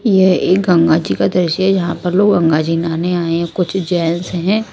यह एक गंगा जी का दृश्य यहां पर लोग गंगा जी नाने आए हैं कुछ जेंट्स हैं।